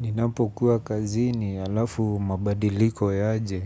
Ninapokuwa kazini halafu mabadiliko yaje